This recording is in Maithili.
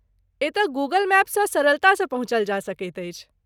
एतय गूगल मैपसँ सरलतासँ पहुँचल जा सकैत अछि।